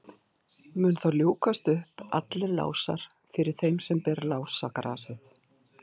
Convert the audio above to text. Munu þá ljúkast upp allir lásar fyrir þeim sem ber lásagrasið.